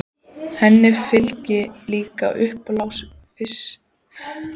Henni fylgdi líka uppblásin dirfska og forvitni.